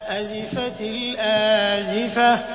أَزِفَتِ الْآزِفَةُ